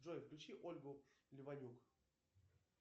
джой включи ольгу леванюк